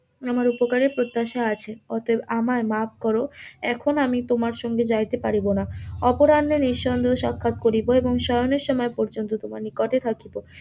আমার উপকারের প্রত্যাশা আছে. অতএব আমায় মাফ কর. এখন আমি তোমার সঙ্গে যাইতে পারিব না, অপরাহে নিঃসন্দেহে সাক্ষাত করিব. এবং শয়নে সময় পর্যন্ত তোমার নিকটে থাকিব.